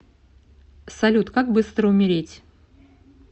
салют как быстро умереть